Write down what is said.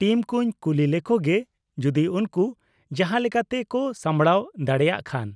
-Team ᱠᱩᱧ ᱠᱩᱞᱤ ᱞᱮᱠᱚ ᱜᱮ ᱡᱩᱫᱤ ᱩᱱᱠᱩ ᱡᱟᱦᱟᱸᱞᱮᱠᱟᱛᱮ ᱠᱚ ᱥᱟᱢᱵᱲᱟᱣ ᱫᱟᱲᱮᱭᱟᱜ ᱠᱷᱟᱱ ᱾